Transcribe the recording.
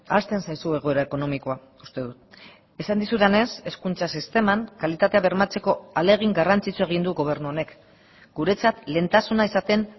ahazten zaizu egoera ekonomikoa uste dut esan dizudanez hezkuntza sisteman kalitatea bermatzeko ahalegin garrantzitsua egin du gobernu honek guretzat lehentasuna izaten